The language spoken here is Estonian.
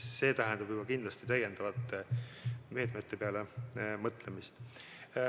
See tähendab juba kindlasti täiendavate meetmete peale mõtlemist.